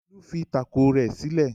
Olu fi tákò rẹ̀ sílẹ̀.